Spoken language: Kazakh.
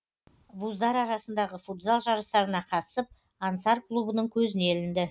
вуздар арасындағы футзал жарыстарына қатысып ансар клубының көзіне ілінді